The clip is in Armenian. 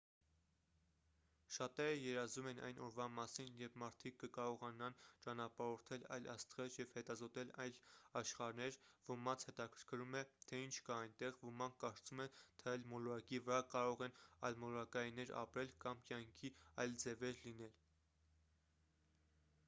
շատերը երազում են այն օրվա մասին երբ մարդիկ կկարողանան ճանապարհորդել այլ աստղեր և հետազոտել այլ աշխարհներ ոմանց հետաքրքրում է թե ինչ կա այնտեղ ոմանք կարծում են թե այլ մոլորակի վրա կարող են այլմոլորակայիններ ապրել կամ կյանքի այլ ձևեր լինել